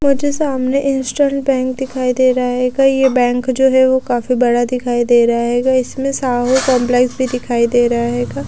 मुझे सामने eastern bank दिखाई दे रहा है एक ये बैंक जो है वो काफी बड़ा दिखाई दे रहा है इसमें साहू कंपलेक्स भी दिखाई दे रहा है एक।